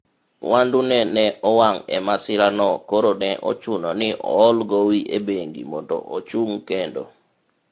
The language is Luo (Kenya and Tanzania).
mwandune ne owang' e masira no koro ne ochuno ni ohol gowi e bengi mondo ochung' kendo